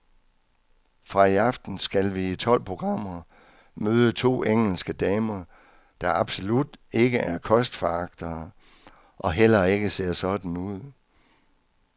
Fra i aften skal vi i tolv programmer møde to engelske damer, der absolut ikke er kostforagtere og heller ikke ser sådan ud.